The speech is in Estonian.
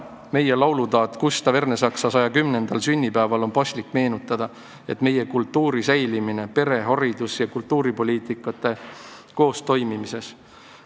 Laulutaat Gustav Ernesaksa 110. sünniaastapäeval ehk täna on paslik meenutada, et meie kultuur püsib pere-, haridus- ja kultuuripoliitikate koostoimes.